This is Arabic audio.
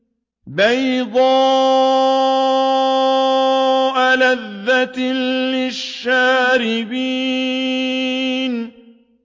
بَيْضَاءَ لَذَّةٍ لِّلشَّارِبِينَ